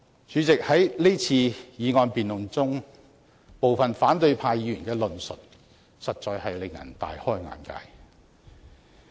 主席，在這次議案辯論中，部分反對派議員的論述實在令人大開眼界。